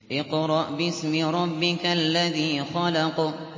اقْرَأْ بِاسْمِ رَبِّكَ الَّذِي خَلَقَ